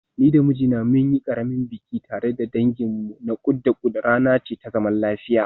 Ni da mijina mun yi ƙaramin biki tare da danginmu na kud da kud, rana ce ta zaman lafiya.